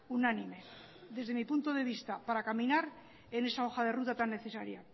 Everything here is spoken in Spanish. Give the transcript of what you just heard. unánime desde mi punto de vista para caminar en esa hoja de ruta tan necesaria